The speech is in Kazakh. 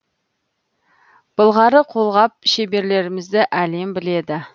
былғары қолғап шеберлерімізді әлем біледі